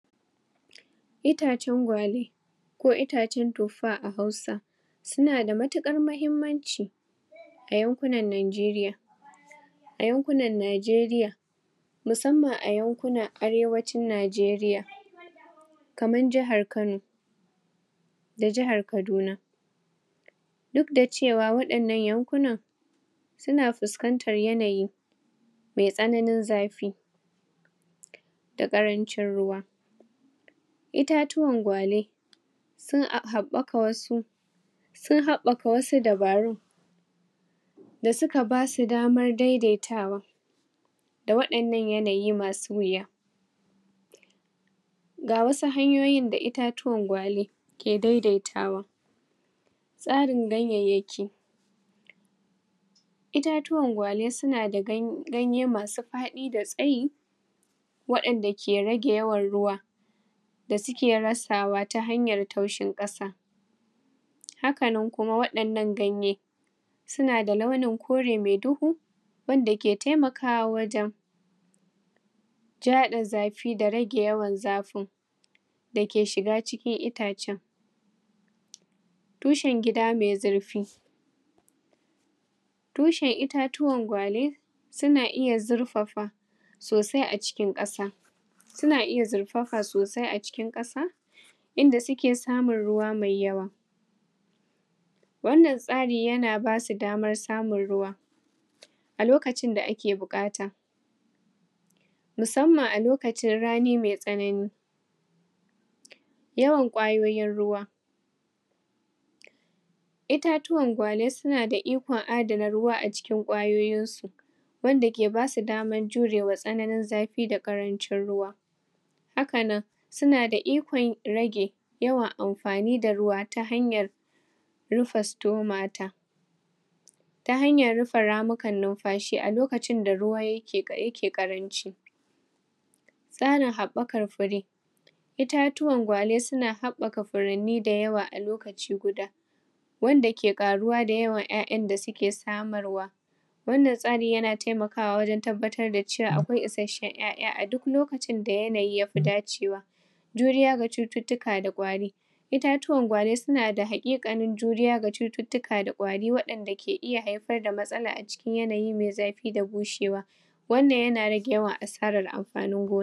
itace gwale ko itacen tuffa a hausa sunada matukar mahimmanci ayankunan nigeria ayankunan nigeria musaman ayankunan arewacin nigeria kamar jahar kano da jahar kaduna duk daciwa wadinan yankuna suna fuskantar yanayi mai tsanani zafi da karancin ruwa itatuwan gwale sunhaɓaka wasu sunhaɓaka wasu dabarun dasuka basu damar daidaitawa da waɗinan yanayi masu wuya gawasu hanyoyi da itatuwan gwale ki daidaitawa tsarin ganyanyaki itatuwan gwale suna ganye masu faɗi da tsaye wadin da ki rage yawan ruwa dasuki rasawa tahanyan taushin ƙasa hakanan kuma waɗin nan ganye sunada launi kore mai dohu wanda ke taimakawa wajan ja haɗin zafi da rage yawan zafin daki shiga cikin itacen tushan gida mai zurfi tushan itatuwan gwale suna iya zurfafa sosai acikin ƙasa suna iya zurfafa sosai a cikin kasa inda suki samun ruwa mai yawa wannan tsari yana basu damar samun ruwa alokacin da aki buƙata musamman alokacin rani mai tsanani yawan ƙwayoyin ruwa itatuwan gwale sunada ikon adana ruwa acikin ƙwayoyin su wandaki basu daman jurewa tsanani zafi da ƙarancin ruwa hakanan sunada ikon rage yawan anfani da ruwa tahanyar rufe stomata tahanyar rufe ramukan nufashi alokacin da ruwa yake ƙaranci tsarin haɓakan fure itakuwan gwale suna haɓaka furanni dayawa alokaci guda wanda ki ƙaruwa da yawan ƴaƴa dasuke samarwa wannan tsari yana taimakawa wajan tabbatar da cewa akwai ishashin ƴaƴa aduk lokacin da yanayi yafi dacewa juriya da cututtuka da ƙwari itatuwan gwale sunada haƙiƙani juriya ga cutuka da ƙwari waɗinda ki iya haifarda matsala acikin yanayin mai zafi da bushewa wannan yana rage yawan asaran anfani